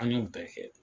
An y'o bɛɛ kɛ